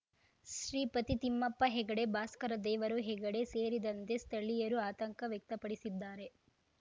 ಶ್ರೀಪತಿ ತಿಮ್ಮಪ್ಪ ಹೆಗಡೆ ಭಾಸ್ಕರ ದೇವರು ಹೆಗಡೆ ಸೇರಿದಂತೆ ಸ್ಥಳೀಯರು ಆತಂಕ ವ್ಯಕ್ತಪಡಿಸಿದ್ದಾರೆ